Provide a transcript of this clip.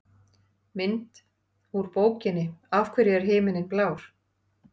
Mynd: Úr bókinni Af hverju er himinninn blár?